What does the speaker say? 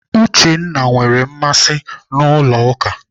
Uchenna nwere mmasị n'ụlọ ụka.